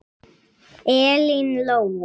Elín Lóa.